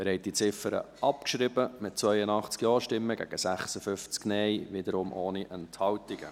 Sie haben diese Ziffer abgeschrieben, mit 82 Ja- gegen 56 Nein-Stimmen, wiederum ohne Enthaltungen.